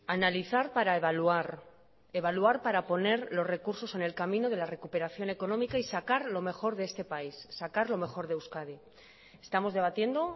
analizar para evaluar evaluar para poner los recursos en el camino de la recuperación económica y sacar lo mejor de este país sacar lo mejor de euskadi estamos debatiendo